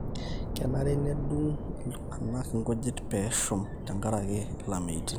kenare nedung iltung'anak inkujit peeshom tenkareki ilameitin